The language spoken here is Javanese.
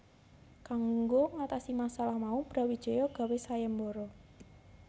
Kanggo ngatasi masalah mau Brawijaya gawé sayembara